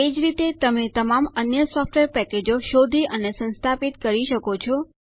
એ જ રીતે તમે તમામ અન્ય સોફ્ટવેર પેકેજો શોધી અને સંસ્થાપિત કરી શકો છો